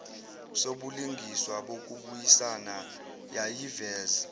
sobulungiswa bokubuyisana yayiveza